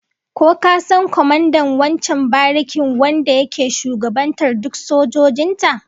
Ko ka san kwamandan wancan barikin wanda yake shugabantar duk sojojin ta?